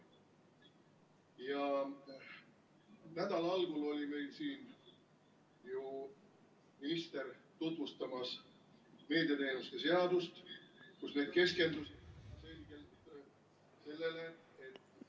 Ja nädala algul oli meil siin ju minister tutvustamas meediateenuste seadust, kus need keskenduti ... ...selgelt sellele, et ...